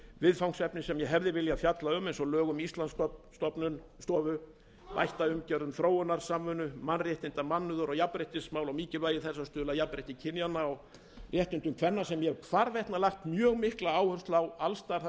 viðfangsefni sem ég hefði viljað fjalla um eins og lög um íslandsstofu bætt umgjörð um þróunarsamvinnu mannréttinda mannúðar og jafnréttismál mikilvægi þess að stuðla að jafnrétti kynjanna og réttindum kvenna sem ég hef hvarvetna lagt mjög mikla áherslu á alls staðar þar sem ég hef